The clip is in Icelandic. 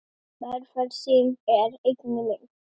Velferð þín er einnig mín.